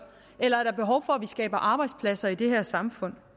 eller er behov for at vi skaber arbejdspladser i det her samfund